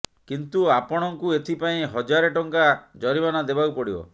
କିନ୍ତୁ ଆପଣଙ୍କୁ ଏଥିପାଇଁ ହଜାରେ ଟଙ୍କା ଜରିମାନା ଦେବାକୁ ପଡିବ